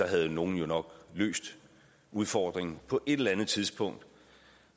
havde nogle jo nok løst udfordringen på et eller andet tidspunkt